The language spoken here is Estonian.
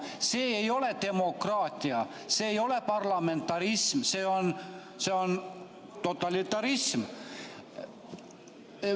See ei ole demokraatia, see ei ole parlamentarism, see on totalitarism.